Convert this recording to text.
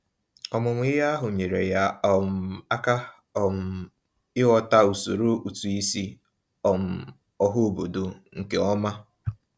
Ọmụmụ ihe ahụ nyeere ya um aka um ịghọta usoro ụtụisi um ọhaobodo nkeọma.